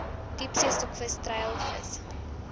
diepsee stokvis treilvissery